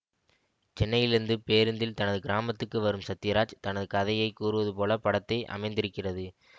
சென்னையிலிருந்து பேருந்தில் தனது கிராமத்துக்கு வரும் சத்யராஜ் தனது கதையை கூறுவது போல படத்தை அமைந்திருக்கிறது